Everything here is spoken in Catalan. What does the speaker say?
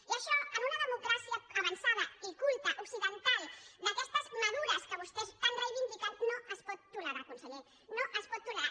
i això en una democràcia avançada i culta occidental d’aquestes madures que vostès tan reivindiquen no es pot tolerar conseller no es pot tolerar